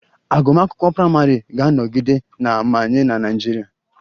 Agụmakwụkwọ praịmarị ga-anọgide na-amanye na Naịjirịa